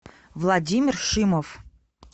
владимир шимов